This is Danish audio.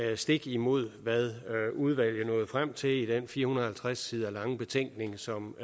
er stik imod hvad udvalget nåede frem til i den fire hundrede og halvtreds sider lange betænkning som